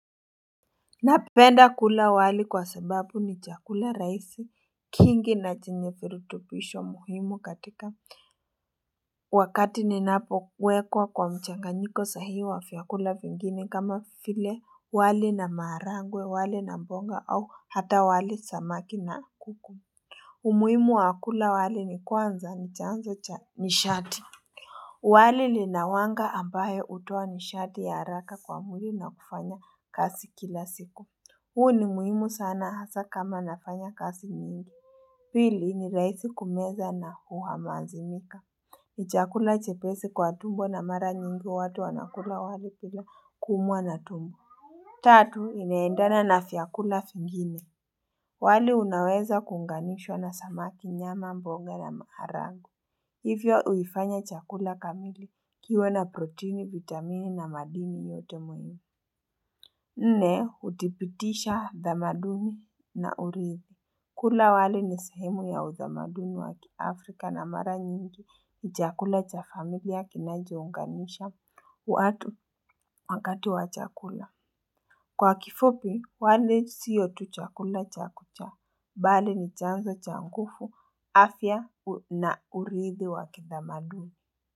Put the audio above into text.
Napenda kula wali kwa sababu ni chakula rahisi kingi na chenye virutubisho muhimu katika wakati ninapowekwa kwa mchanganyiko sahihi wa vyakula vingine kama vile wali na maharagwe wali na mboga au hata wali samaki na kuku umuhimu wa kula wali ni kwanza ni chanzo cha nishati wali lina wanga ambayo hutoa nishati ya haraka kwa mwili na kufanya kazi kila siku. Huu ni muhimu sana hasa kama nafanya kazi nyingi. Pili ni rahisi kumeza na huhamazimika. Ni chakula chepesi kwa tumbo na mara nyingi watu wanakula wali bila kuumwa na tumbo. Tatu, inaendana na vyakula vingine wali unaweza kuunganishwa na samaki, nyama, mboga na maharagwe Hivyo uifanya chakula kamili. Kiwe na proteini, vitamini na madini yote muhimu Nne, uthibitisha tamaduni na urithi. Kula wali ni sehemu ya utamaduni wa kiafrika na mara nyingi ni chakula cha familia kinachounganisha watu wakati wa chakula Kwa kifupi, wali siyo tu chakula cha kucha bali ni chanzo cha nguvu, afya na uridhi wakitamaduni.